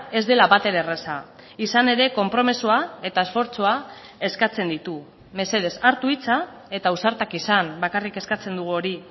ez dela batere erraza izanere konpromisoa eta esfortzua eskatzen ditu mesedez hartu hitza eta ausartak izan bakarrik eskatzen dugu hori